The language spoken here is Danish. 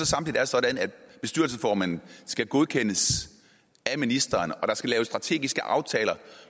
samtidig er sådan at bestyrelsesformanden skal godkendes af ministeren og at der skal laves strategiske aftaler